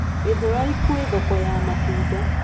Githurai kwĩ thoko ya matunda.